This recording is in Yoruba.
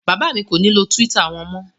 Bàbá mi kò ní lo Twitter wọn mọ́.